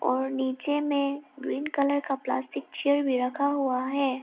और नीचे में ग्रीन कलर का प्लास्टिक चेयर भी रखा हुआ है।